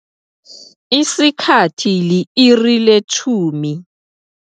Isikhathi li-iri le-10.